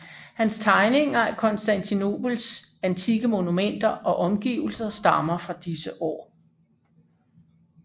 Hans tegninger af Konstantinopels antikke monumenter og omgivelser stammer fra disse år